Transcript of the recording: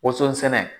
Woso sɛnɛ